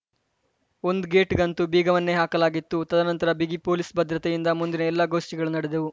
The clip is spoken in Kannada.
ಒಂದು ಗೇಟ್‌ಗಂತೂ ಬೀಗವನ್ನೇ ಹಾಕಲಾಗಿತ್ತು ತದನಂತರ ಬಿಗಿ ಪೊಲೀಸ್‌ ಭದ್ರತೆಯ ಮುಂದಿನ ಎಲ್ಲ ಗೋಷ್ಠಿಗಳು ನಡೆದವು